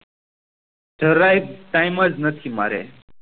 જરાય એ time જ નથી મારે